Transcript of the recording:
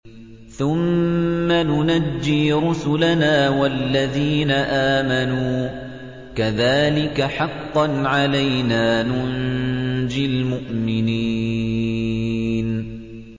ثُمَّ نُنَجِّي رُسُلَنَا وَالَّذِينَ آمَنُوا ۚ كَذَٰلِكَ حَقًّا عَلَيْنَا نُنجِ الْمُؤْمِنِينَ